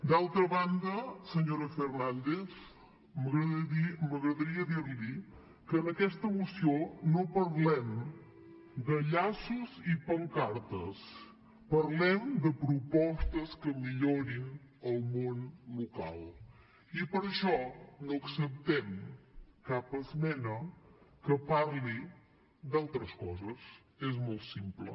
d’altra banda senyora fernández m’agradaria dir li que en aquesta moció no parlem de llaços i pancartes parlem de propostes que millorin el món local i per això no acceptem cap esmena que parli d’altres coses és molt simple